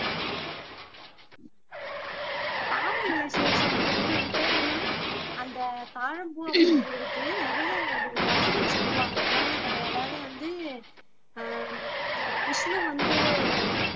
பாம்பு இல்லை சிவசங்கரி அது பேரு என்ன அந்த தாழம்பூ அப்படிங்கிறதுக்கு நிறைய கதைகள் சொல்லுவாங்க புராண கதை அதாவது வந்து ஆஹ் அஹ் விஷ்ணு வந்து